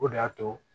O de y'a to